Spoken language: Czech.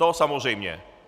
To samozřejmě.